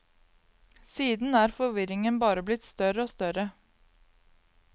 Siden er forvirringen bare blitt større og større.